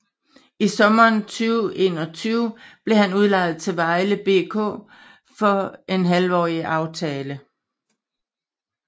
I sommeren 2021 blev han udlejet til Vejle BK på en halvårig aftale